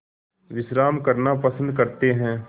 विश्राम करना पसंद करते हैं